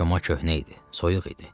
Çoma köhnə idi, soyuq idi.